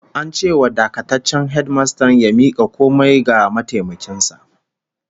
An ce wa dakataccen hedimastan ya mika komai ga mataimakin sa